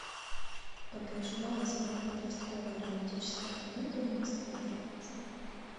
как и ожидалось моя подростковая романтическая комедия не складывается